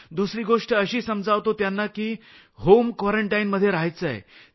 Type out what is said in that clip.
दुसरी गोष्ट अशी समजावतो आहोत की त्यांना होम क्वारंटाईनमध्ये रहायचं आहे